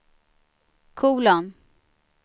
kolon